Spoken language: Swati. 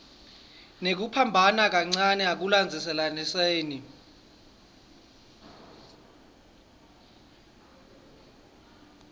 kunekuphambana kancane ekulandzelaniseni